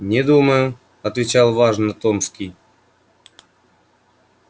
не думаю отвечал важно томский